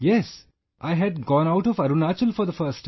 Yes, I had gone out of Arunachal for the first time